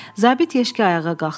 Zabit Yeşki ayağa qalxdı.